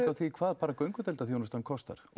á því hvað bara göngudeildargreiningin kostar